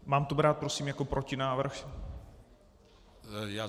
Mám to brát prosím jako protinávrh?